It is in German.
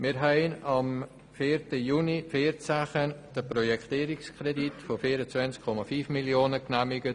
Wir haben am 4. Juni 2014 den Projektierungskredit von 24,5 Mio. Franken genehmigt.